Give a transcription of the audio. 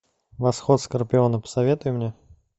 восход скорпиона посоветуй мне